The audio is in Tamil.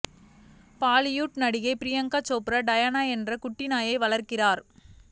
பாலிவுட் நடிகை பிரியங்கா சோப்ரா டயானா என்ற குட்டி நாயை வளர்க்கிறார்